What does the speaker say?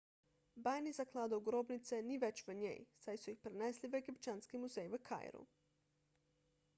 bajnih zakladov grobnice ni več v njej saj so jih prenesli v egipčanski muzej v kairu